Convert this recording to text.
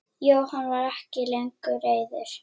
Jóhann var ekki lengur reiður.